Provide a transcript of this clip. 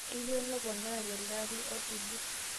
keyieu neponu telde ari asuju